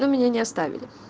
но меня не оставили